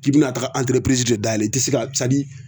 K'i bina tagaga ɛnterepirizi de dayɛlɛ i ti se ka sadi